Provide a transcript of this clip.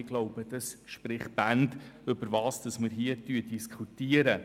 Ich glaube, dies spricht Bände über das, was wir hier diskutieren.